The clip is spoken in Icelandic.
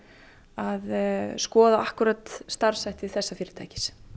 að skoða akkúrat starfshætti þessa fyrirtækis